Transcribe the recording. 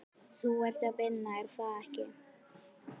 Þú ert að vinna, er það ekki?